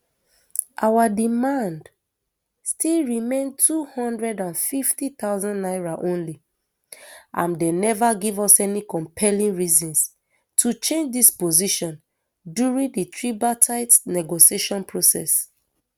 our demand still remain two hundred and fifty thousand naira only and dem neva give us any compelling reasons to change dis position during di tripartite negotiation process